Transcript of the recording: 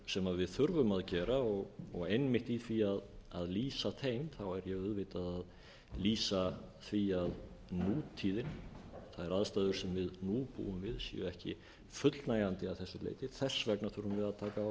sem við þurfum að gera og einmitt í því að lýsa þeim er ég auðvitað að lýsa því að nútíðin þær aðstæður sem við nú búum við séu ekki fullnægjandi að þess leyti þess vegna þurfum við að taka á